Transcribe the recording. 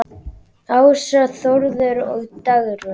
Ása, Þórður og Dagrún.